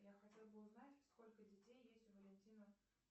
я хотела бы узнать сколько детей есть у валентина